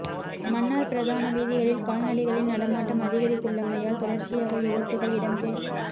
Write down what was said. மன்னார் பிரதான வீதிகளில் கால்நடைகளின் நடமாட்டம் அதிகரித்துள்ளமையால் தொடர்ச்சியாக விபத்துக்கள் இடம்பெ